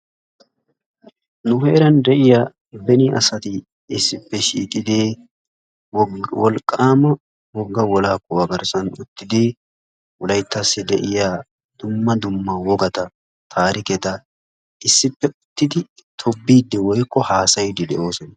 Nu heeran de'iyaa beni asati issippe shiiqidi wolqqaama wogga wolaa kuwaa garssaa uttidi wolayttassi de'iyaa dumma dumma wogata taariketa issppe uttidi tobbiiddi woykko haasayiidi de'oosona.